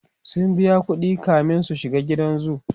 sun biya ƙuɗi kamin su shiga gidan zoo